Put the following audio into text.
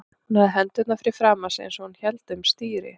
Hún hafði hendurnar fyrir framan sig eins og hún héldi um stýri.